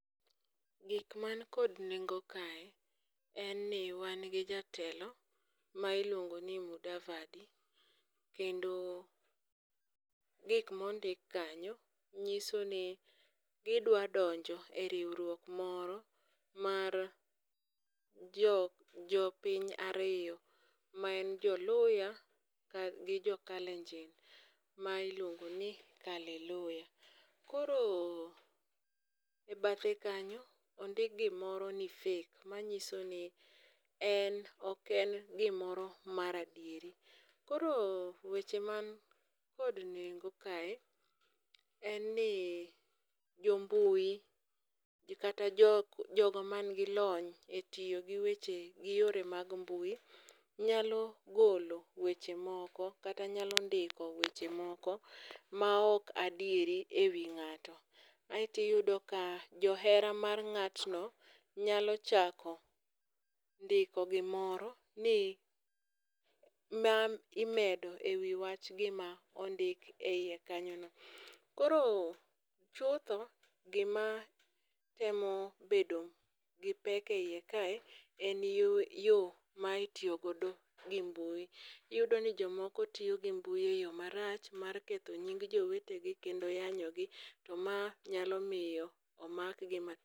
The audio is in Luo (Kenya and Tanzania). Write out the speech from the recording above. Gik man kod nengo kae en ni wan gi jatelo ma iluongo ni Mudavadi. Kendo gik mondik kanyo nyiso ni gidwa donjo e riwruok moro mar jo jopiny ariyo, ma en joluhya gi jo kalenjin ma iluongo ni kaleluhya. Koro e bathe kanyo ondik gimoro ni fake manyiso ni en ok en gimoro mar adier. Koro weche man kod nengo kae en ni jombui kata jok jogo manigi lony e tiyo gi weche mag mbui nyalo golo weche moko kata nyalo ndiko weche moko ma ok adieri e wi ng'ato. Aeto iyudo ka johera mar ng'atno nyalo chako ndiko gimoro ,ni, ma imedo e wi wach gima ondik e wiye kanyono. Koro chutho, gimatemo bedo gi pek eiye kae en yo yo ma itiyo godo gi mbui. Iyudo ni jomoko tiyo gi mbui e yo marach mar ketho nying jowetegi kendo yanyogi to ma nyalo miyo omakgi ma